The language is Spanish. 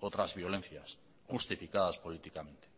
otras violencias justificadas políticamente